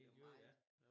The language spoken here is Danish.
Miljøet ja